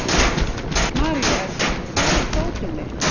Maríuerla, hvar er dótið mitt?